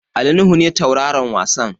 Ali Nuhu ne tauraron wasan.